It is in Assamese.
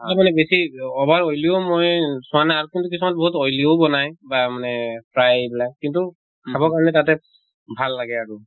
আৰু মানে বেছি over oily ও মই চোৱা নাই আৰু কিন্তু কিছুমান বহুত oily ও বনায়। বা মানে fry বিলাক, কিন্তু খাব কাৰিণে তাতে ভাল লাগে আৰু।